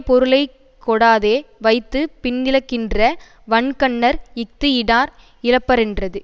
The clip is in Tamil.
பொருளை கொடாதே வைத்து பின்னிழக்கின்ற வன்கண்ணர் இஃது இடார் இழப்பரென்றது